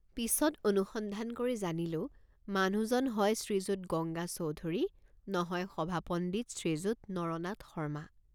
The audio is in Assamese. পিচত অনুসন্ধান কৰি জানিলোঁ মানুহজন হয় শ্ৰীযুত গঙ্গা চৌধুৰী নহয় সভাপণ্ডিত শ্ৰীযুত নৰনাথ শৰ্মা।